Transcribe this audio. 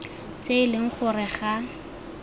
tse e leng gore ga